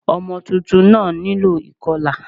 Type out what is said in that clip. Ọmọ tuntun náà nílò ìkọlà